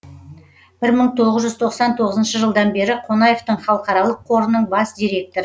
бір мың тоғыз жүз тоқсан тоғызыншы жылдан бері қонаевтың халықаралық қорының бас директоры